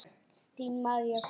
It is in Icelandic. Þín María Guðrún.